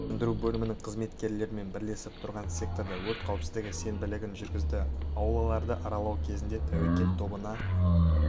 сөндіру бөлімінің қызметкерлерімен бірлесіп тұрғын секторда өрт қауіпсіздігі сенбілігін жүргізді аулаларды аралау кезінде тәуекел тобына